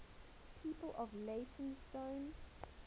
people from leytonstone